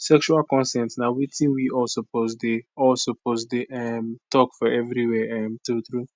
sexual consent na watin we all suppose dey all suppose dey um talk for everywhere um true true